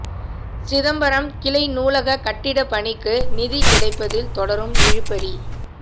சிதம்பரம் கிளை நூலகக் கட்டட பணிக்கு நிதி கிடைப்பதில் தொடரும் இழுபறி